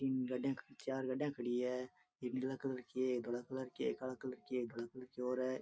तीन गाड़िया चार गाड़िया खड़ी है एक नील कलर की है एक धोल कलर की है एक काला कलर की है एक ग्रे कलर और है।